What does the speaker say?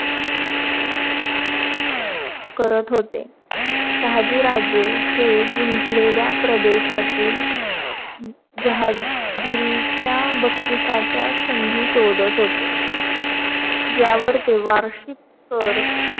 करत होते. शहाजीराजे हे जींकलेल्या प्रदेशातील जहागिरीच्या बक्षिसाच्या संधी शोधात होते. ज्यावर ते वार्षिक कर